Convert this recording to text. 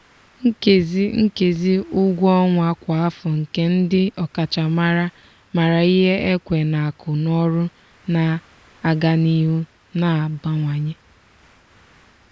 nkezi nkezi ụgwọ ọnwa kwa afọ nke ndị ọkachamara maara ihe ekwe n'akụ n'ọrụ na-aga n'ihu na-abawanye.